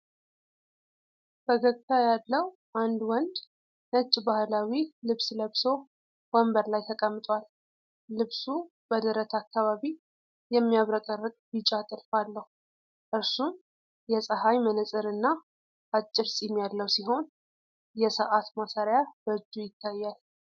ፈገግታ ያለው አንድ ወንድ ነጭ ባህላዊ ልብስ ለብሶ ወንበር ላይ ተቀምጧል። ልብሱ በደረት አካባቢ የሚያብረቀርቅ ቢጫ ጥልፍ አለው። እርሱም የፀሐይ መነፅርና አጭር ፂም ያለው ሲሆን፤ የሰዓት ማሰሪያ በእጁ ይታያል።